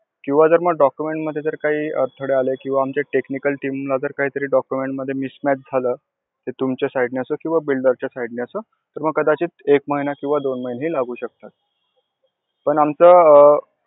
किंवा जर मग document मधे काही अडथळे आले किंवा आमच्या technical team ला जर काही तरी document मधे mismatch झालं, ते तुमच्या side नी असो किंवा builder च्या side नी असो तर मग एक महिना किंवा दोन महिनेही लागू शकतात. पण आमचं